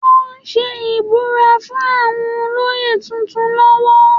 Wọ́n ń ṣe ìbúra fún àwọn olóyè tuntun lọ́wọ́